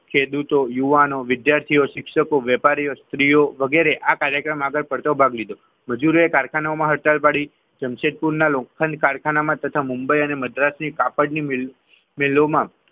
ખેડૂતો યુવાનો વિદ્યાર્થીઓ શિક્ષકો વેપારીઓ સ્ત્રીઓ વગેરે આ કાર્યમાં આગળ પડતો ભાગ લીધો મજૂરોએ કારખાનાઓમાં હડતાલ પાડી દીધી જમશેદપુરના લોખંડ કારખાનામાં તથા મુંબઈ અને મદ્રાસની કાપડની મિલમાં મિલોમાં,